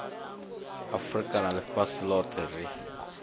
afurika na ḽifhasi ḽoṱhe ri